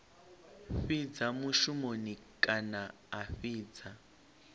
fhidza mushumoni kana a fhidza